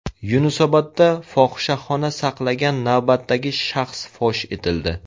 Yunusobodda fohishaxona saqlagan navbatdagi shaxs fosh etildi.